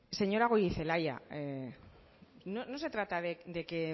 señora goirizelaia no se trata de que